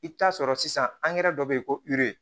I bɛ taa sɔrɔ sisan dɔ bɛ yen ko